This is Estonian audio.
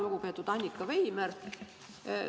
Lugupeetud Annika Veimer!